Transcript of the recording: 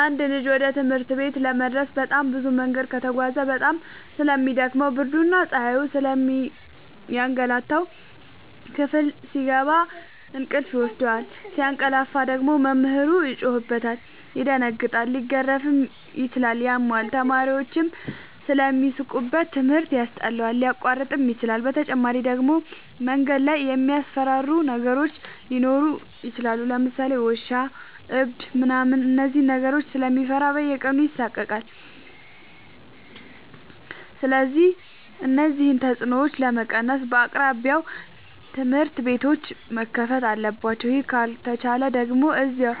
አንድ ልጅ ወደ ትምህርት ቤት ለመድረስ በጣም ብዙ መንገድ ከተጓዘ በጣም ስለሚ ደክመው ብርድና ፀሀዩ ስለሚያገላታው። ክፍል ሲገባ እንቅልፍ ይወስደዋል። ሲያቀላፍ ደግሞ መምህሩ ይጮህበታል ይደነግጣል ሊገረፍም ይችላል ያመዋል፣ ተማሪዎችም ስለሚሳለቁበት ትምህርት ያስጠላዋል፣ ሊያቋርጥም ይችላል። በተጨማሪ ደግሞ መንገድ ላይ የሚያስፈራሩ ነገሮች ሊኖሩ ይችላሉ ለምሳሌ ውሻ እብድ ምናምን እነዚህን ነገሮች ስለሚፈራ በየቀኑ ይሳቀቃል። ስለዚህ እነዚህን ተፅኖዎች ለመቀነስ በየአቅራቢያው ትምህርት ቤቶዎች መከፈት አለባቸው ይህ ካልተቻለ ደግሞ እዚያው